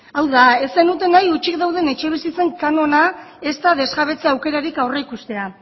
hau da ez zenuten nahi utzik dauden etxebizitzen kanona ezta desjabetza aukerarik aurreikustea